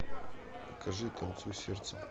покажи танцуй сердцем